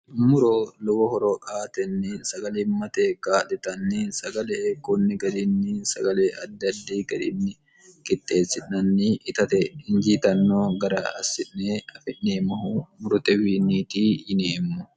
muro lowo horo aatenni sagalimmate kaa'litanni sagale heekkoonni garinni sagale addaddi gariinni kixxeessi'nanni itate injiitanno gara assi'ne afi'neemmohu murote wiinniiti yineemmo